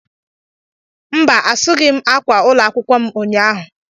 Mba, asúghị m ákwà ụlọ akwụkwọ m ụnyahụ